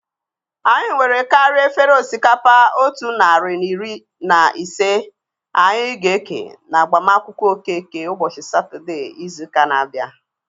Anyị nwere karịa efere osikapa otu narị na iri na ise anyị ga-eke na agbamakwụkwọ Okeke ụbọchị Satọdee izu ụka na-abịa